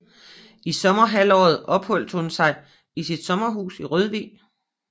I sommerhalvåret opholdt hun sig i sit sommerhus i Rørvig